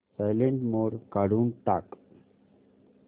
silent mode काढून टाक